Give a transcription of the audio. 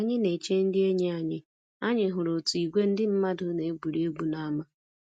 Ka anyị na-eche ndị enyi anyị, anyị hụrụ otu ìgwè ndị mmadụ na-egwuri egwu n'ámá